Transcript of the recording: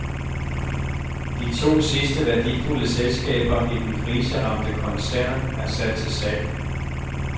De to sidste værdifulde selskaber i den kriseramte koncern er sat til salg.